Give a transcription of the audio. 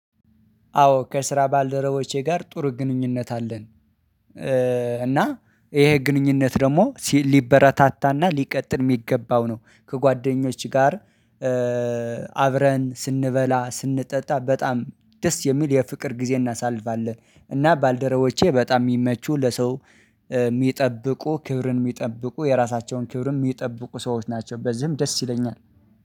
አዎ ከስራ ባልደረቦቼ ጋር ጥሩ ግንኙነት አለን። እና ይሄ ግንኙነት ደግሞ ሊበረታታና ሊቀጥል የሚገባው ነው። ከጓደኞች ጋር አብረን ስንበላ ስንጠጣ በጣም ደስ የሚል የፍቅር ጊዜ እናሳልፋለን። እና ባልደረቦቼ በጣም የሚመቹ ለሰው የሚጠብቁ ክብርን የሚጠብቁ የራሳቸውን ክብርም የሚጠብቁ ሰዎች ናቸው። በዚህም ደስ ይለኛል።